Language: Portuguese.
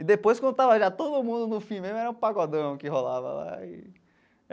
E depois, quando estava já todo mundo no fim mesmo, era o Pagodão que rolava lá e.